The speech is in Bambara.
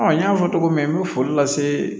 n y'a fɔ cogo min n bɛ foli lase